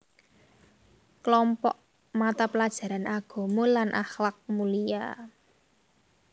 Klompok mata pelajaran agama lan akhlak mulia